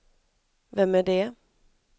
vem är det